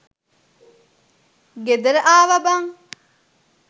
ගෙදර ආවා බං.